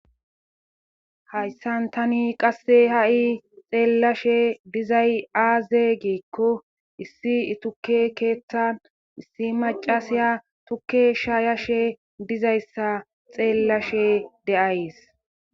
hayssan tani qasse ha7i xeellashe dizay aaze giikko issi ituke keeththan issi macasiya tukke shaayashe dizayssa xeellashe deays